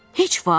Heç vaxt?